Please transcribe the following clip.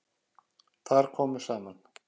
Þar komu saman